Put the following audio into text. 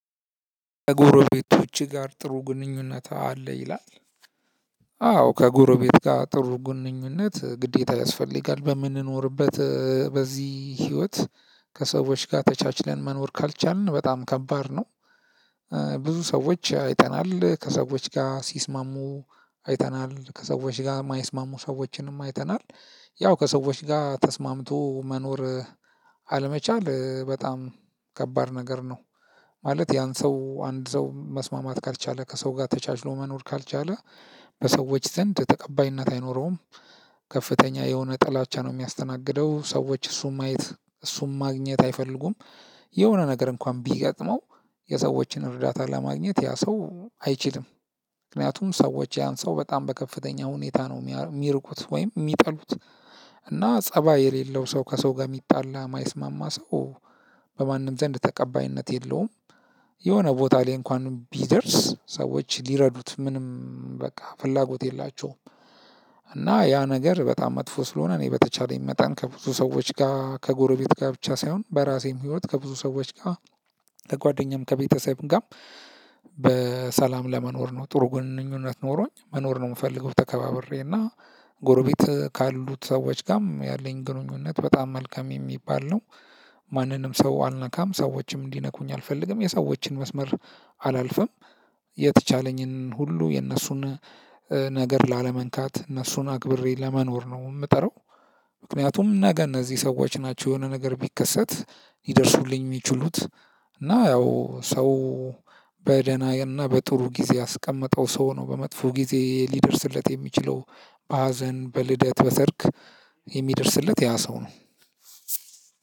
ከጎረቤቶችህ ጋር ጥሩ ግንኙነት አለህ ይላል? አዎ ከጎረቤት ጋር ጥሩ ግንኙነት ግዴታ ያስፈልጋል በምንኖርበት እ በዚህ ህይወት ከሰዎች ጋር ተቻችለን መኖር ካልቻልን በጣም ከባድ ነው። ብዙ ሰዎች አይተናል ከሰዎች ጋር ሲስማሙ አይተናል ከሰዎች ጋር የማይስማሙ ሰዎችንም አይተናል። ያው ከሰዎች ጋር ተስማምቶ መኖር አለመቻል እ በጣም ከባድ ነገር ነው። ማለት ያን ሰው አንድ ሰው መስማማት ካልቻለ ከሰው ጋር ተቻችሎ መኖር ካልቻለ በሰዎች ዘንድ ተቀባይነት አይኖረውም። ከፍተኛ የሆነ ጥላቻ ነው የሚያስተናግደው ሰዎች እሱን ማየት እሱን ማግኘት አይፈልጉም። የሆነ ነገር እንኳን ቢገጥመው የሰዎችን እርዳታ ለማግኘት ያ ሰው አይችልም። ምክንያቱም ሰዎች ያን ሰው በጣም በከፍተኛ ሁኔታ ነው የሚርቁት ወይም የሚጠሉት። እና ፀባይ የሌለው ሰው ከሰው ጋር የሚጣላ የማይስማማ ሰው በማንም ዘንድ ተቀባይነት የለውም። የሆነ ቦታ ላይ እንኳን ቢደርስ ሰዎች ሊረዱት ምንም በቃ ፍላጎት የላቸውም። እና ያ ነገር በጣም መጥፎ ስለሆነ እኔ በተቻለኝ መጠን ከብዙ ሰዎች ጋር ከጎረቤት ጋር ብቻ ሳይሆን በራሴም ህይወት ከብዙ ሰዎች ጋር ከጓደኛም ከቤተሰብም ጋር። በሰላም ለመኖር ነው ጥሩ ግንኙነት ኖሮኝ መኖር ነው የምፈልገው ተከባብሬና ጎረቤት ካሉት ሰዎች ጋርም ያለኝ ግንኙነት በጣም መልካም የሚባል ነው። ማንንም ሰው አልነካም ሰዎችም እንዲነኩኝ አልፈልግም የሰዎችን መስመር አላልፍም። የተቻለኝን ሁሉ የእነሱን ነገር ላለመንካት እነሱን አክብሬ ለመኖር ነው ምጥረው። ምክንያቱም ነገ እነዚህ ሰዎች ናቸው የሆነ ነገር ሲከሰት ሊደርሱልኝ ሚችሉት እና እ በደናየንና በጥሩ ጊዜ ያስቀመጠው ሰው ነው በመጥፎ ጊዜ ሊደርስለት የሚችለው። በሀዘን በልደት በሰርግ የሚደርስለት ያ ሰው ነው።